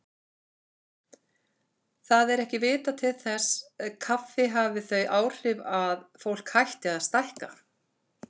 Það er ekki vitað til þess kaffi hafi þau áhrif að fólk hætti að stækka.